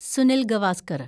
Sunil Gavaskar